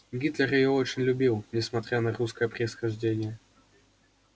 гитлер её очень любил несмотря на русское происхождение